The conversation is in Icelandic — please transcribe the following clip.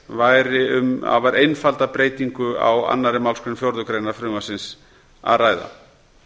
væri um afar einfalda breytingu á annarri málsgrein fjórðu greinar frumvarpsins að ræða